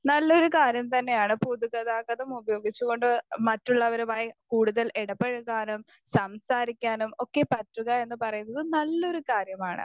Speaker 1 നല്ലൊരു കാര്യം തന്നെയാണ് പൊതുഗതാഗതം ഉപയോഗിച്ചുകൊണ്ട് മറ്റുള്ളവരെ വൈ കൂടുതൽ ഇടപഴകാനും സംസാരിക്കാനും ഒക്കെ പറ്റുക എന്ന് പറയുന്നതും നല്ലൊരു കാര്യമാണ്.